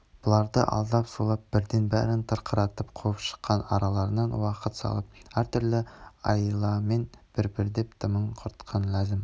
бұларды алдап-сулап бірден бәрін тырқыратып қуып шықпай араларына уақыт салып әртүрлі айламен бір-бірлеп дымын құртқан ләзім